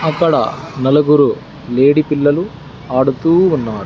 అక్కడ నలుగురు లేడీ పిల్లలు ఆడుతూ ఉన్నా--